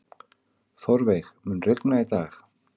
Þórveig, mun rigna í dag?